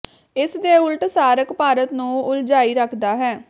ਇਸ ਦੇ ਉਲਟ ਸਾਰਕ ਭਾਰਤ ਨੂੰ ਉਲਝਾਈ ਰੱਖਦਾ ਹੈ